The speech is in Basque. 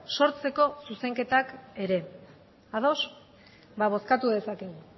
sortzeko zuzenketak ere ados bozkatu dezakegu